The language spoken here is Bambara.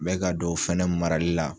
Mɛ ka don o fɛnɛ marali la.